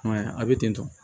I m'a ye a bɛ ten tɔ